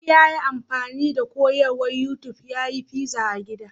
Ali ya yi amfani da koyarwar YouTub ya yi fiza a gida.